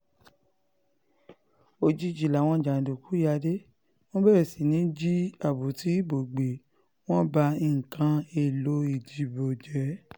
òjijì làwọn jàǹdùkú yá dé wọ́n bẹ̀rẹ̀ sí í jí àpótí ìbò gbé wọn ń ba nǹkan èèlò ìdìbò jẹ́